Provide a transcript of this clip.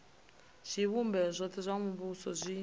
zwivhumbeo zwothe zwa muvhuso zwi